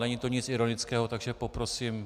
Není to nic ironického, takže poprosím.